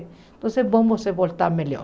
Então vamos nos voltar melhor.